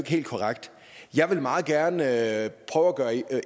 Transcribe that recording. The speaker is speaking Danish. helt korrekt jeg vil meget gerne prøve at gøre